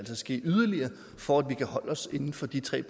ske yderligere for at vi ikke holde os inden for de tre